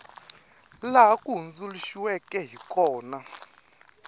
laha wu hundzuluxiweke hi kona